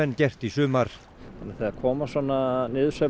gert í sumar þannig að þegar koma svona